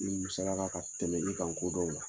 ka tɛmɛ ne ka ko dɔn kan